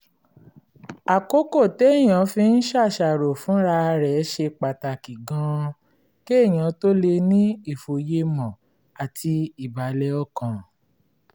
àkókò téèyàn fi ń ṣàṣàrò fúnra rẹ̀ ṣe pàtàkì gan-an kéèyàn tó lè ní ìfòyemọ̀ àti ìbàlẹ̀ ọkàn